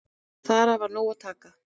Þar var af nógu að taka.